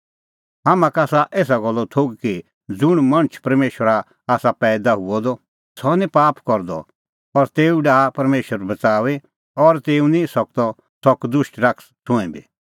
हाम्हां का आसा एसा गल्लो थोघ कि ज़ुंण मणछ परमेशरा का आसा पैईदा हुअ द सह निं पाप करदअ और तेऊ डाहा परमेशर बच़ाऊई और तेऊ निं सकदअ सह कदुष्ट शैतान छ़ुंईं बी